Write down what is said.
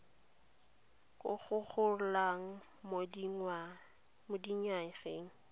go go golang mo dinyageng